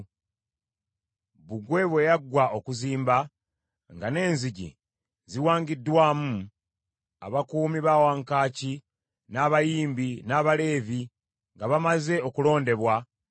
Bbugwe bwe yaggwa okuzimba nga n’enzigi ziwangiddwamu, abakuumi ba wankaaki, n’abayimbi, n’Abaleevi nga bamaze okulondebwa,